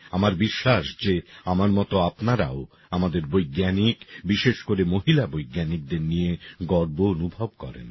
আমার বিশ্বাস যে আমার মত আপনারাও আমাদের বৈজ্ঞানিক বিশেষ করে মহিলা বৈজ্ঞানিকদের নিয়ে গর্ব অনুভব করেন